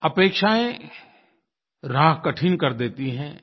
अपेक्षायें राह कठिन कर देती हैं